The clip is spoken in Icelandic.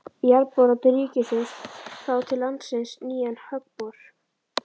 Jarðboranir ríkisins fá til landsins nýjan höggbor